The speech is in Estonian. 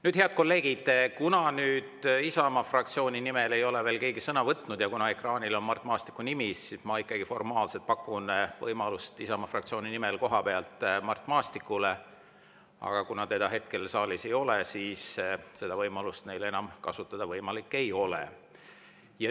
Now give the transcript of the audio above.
Nüüd, head kolleegid, kuna Isamaa fraktsiooni nimel ei ole veel keegi sõna võtnud ja ekraanil on Mart Maastiku nimi, siis ma ikkagi formaalselt pakun võimalust Isamaa fraktsiooni nimel kohapealt sõna võtta Mart Maastikule, aga kuna teda hetkel saalis ei ole, siis seda võimalust Isamaa enam kasutada ei saa.